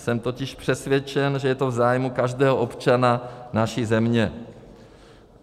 Jsem totiž přesvědčen, že je to v zájmu každého občana naší země.